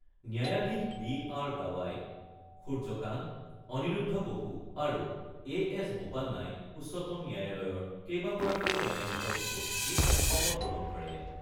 ন্যায়াধীশ B R Gavai, Surya Kant, Aniruddha Bose আৰু A S বোপান্নাই উচ্চতম ন্যায়ালয়ৰ কেইবাগৰাকীও ন্যায়াধীশৰ উপস্থিতিত শপত গ্ৰহণ কৰে।